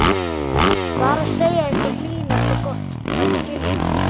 Bara segja eitthvað hlýlegt og gott að skilnaði.